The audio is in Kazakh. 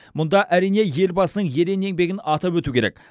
мұнда әрине елбасының ерен еңбегін атап өту керек